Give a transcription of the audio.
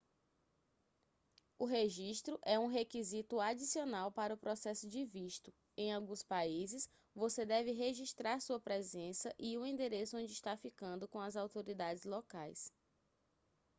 o registro é um requisito adicional para o processo de visto em alguns países você deve registrar sua presença e o endereço onde está ficando com as autoridades locais